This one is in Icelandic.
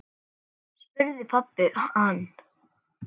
spurði pabbi hans.